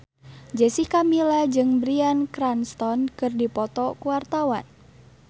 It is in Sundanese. Jessica Milla jeung Bryan Cranston keur dipoto ku wartawan